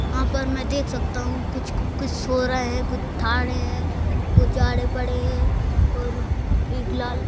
यहाँ पर मैं देख सकता हूं कुछ सो रहे हैं कुछ थाड़े हैं कुछ आड़े पड़े हैं और एक लाल--